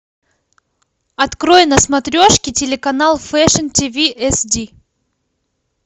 открой на смотрешке телеканал фэшн тиви эсди